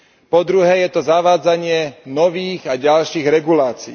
Po druhé, je to zavádzanie nových a ďalších regulácií.